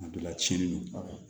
Kuma dɔ la tiɲɛni don